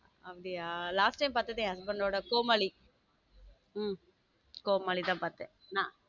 அப்படியா last time பாத்தது என் husband டோட கோமாள கோமாளி தான் பார்த்தேன்.